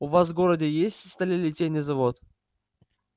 у вас в городе есть сталелитейный завод